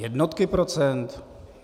Jednotky procent?